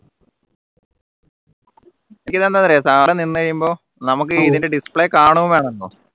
ഇതെന്താറിയോ സാധനം നിന്ന് കഴിയുമ്പോൾ നമുക്ക് ഇതിൻറെ display കാണും വേണമല്ലോ